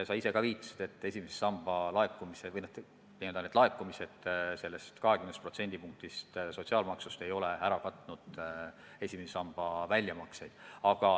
Sa ise ka viitasid, et esimese samba laekumised sellest 20%-st sotsiaalmaksust ei ole ära katnud esimese samba väljamakseid.